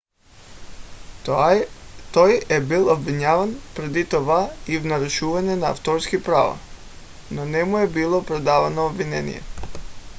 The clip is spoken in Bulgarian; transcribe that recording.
той е бил обвиняван преди това и в нарушаване на авторски права но не му е било предявено обвинение